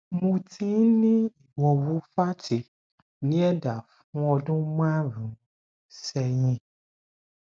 mo ti ní ìwọwù fátì ní ẹdá fún ọdún márùnún sẹyìn